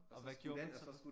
Og hvad gjorde man så?